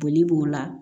Boli b'o la